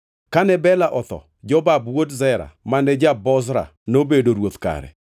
Kane Bela otho, Jobab wuod Zera mane ja-Bozra nobedo ruoth kare.